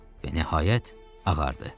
Və nəhayət, ağardı.